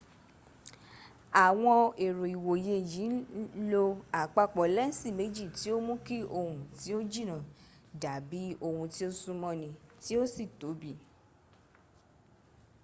awon ero iwoye yi n lo apapo lensi meji ti o n mu ki ohun ti o jina dabi ohun ti o sun mo ni ti o si tobi